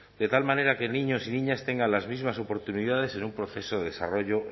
de tal manera que niños y niñas tengan las mismas oportunidades en un proceso de desarrollo